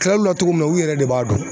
kilal'u la togo min na u yɛrɛ de b'a dɔn